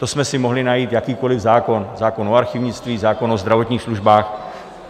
To jsme si mohli najít jakýkoliv zákon - zákon o archivnictví, zákon o zdravotních službách.